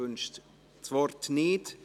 – Sie wünscht das Wort nicht.